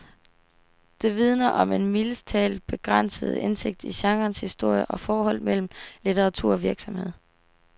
Det vidner om en mildest talt begrænset indsigt i genrens historie og forholdet mellem litteratur og virkelighed.